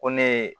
Ko ne ye